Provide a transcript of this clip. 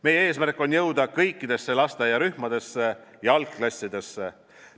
Meie eesmärk on jõuda kõikidesse lasteaiarühmadesse ja algklassidesse.